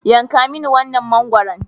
Yanka mini wannan mangwaron.